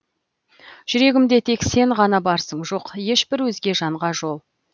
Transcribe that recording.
жүрегімде тек сен ғана барсың жоқ ешбір өзге жанға жол